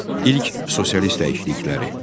İlk sosialist dəyişiklikləri.